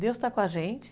Deus está com a gente.